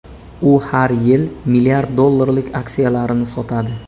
U har yil milliard dollarlik aksiyalarini sotadi.